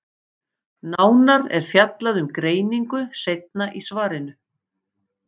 Nánar er fjallað um greiningu seinna í svarinu.